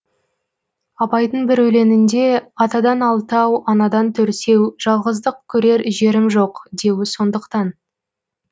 абайдың бір өлеңінде атадан алтау анадан төртеу жалғыздық көрер жерім жоқ деуі сондықтан